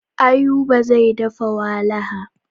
Ayuba zai dafa walaha.